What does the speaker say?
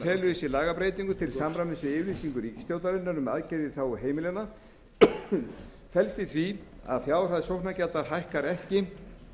í sér lagabreytingar til samræmis við yfirlýsingu ríkisstjórnarinnar um aðgerðir í þágu heimilanna felst í því að fjárhæð sóknargjalda hækkar ekki